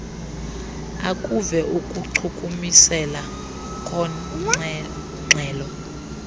akuve ukuchukumiseka kornxhelo